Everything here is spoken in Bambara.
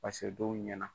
Paseke dɔw ɲɛna